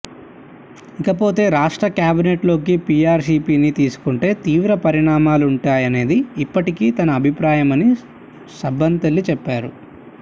ఇక పోతే రాష్ట్ర కేబినెట్లోకి పీఆర్పీని తీసుకుంటే తీవ్ర పరిణామాలుంటాయనేదే ఇప్పటికీ తన అభిప్రాయమని సబ్బం తెలి పారు